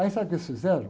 Aí sabe o que eles fizeram?